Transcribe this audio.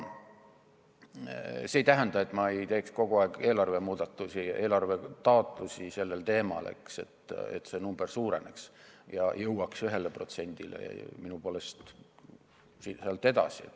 See ei tähenda, et ma ei teeks kogu aeg eelarvetaotlusi sellel teemal, et see summa suureneks ning jõuaks 1%-ni ja minu poolest sealt ainult edasi.